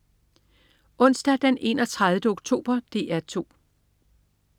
Onsdag den 31. oktober - DR 2: